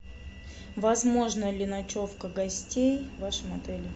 возможна ли ночевка гостей в вашем отеле